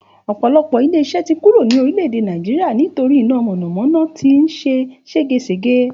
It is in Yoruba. Ò̩pò̩lo̩pò̩ ilé is̩é̩ tí kúrò ní orílè̩-èdè Nàìjíríà nítorí iná mò̩nàmó̩ná tí ń s̩e ségesège